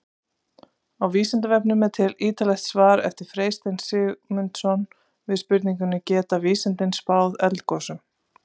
Á Vísindavefnum er til ýtarlegt svar eftir Freystein Sigmundsson við spurningunni Geta vísindin spáð eldgosum?